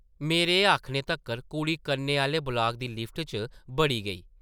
मेरे एह् आखने तक्कर कुड़ी कन्नै आह्ले ब्लाक दी लिफ्ट च बड़ी गेई ।